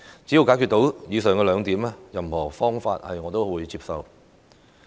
只要解決到以上兩個問題，任何方法我亦會接受。